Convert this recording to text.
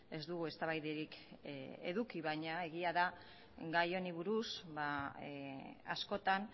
ez dugu eztabaidarik eduki baina egia da gai honi buruz askotan